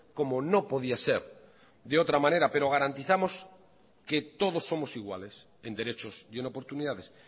como no podía ser de otra manera pero garantizamos que todos somos iguales en derechos y en oportunidades